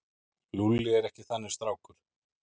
Lúlli er ekki þannig strákur.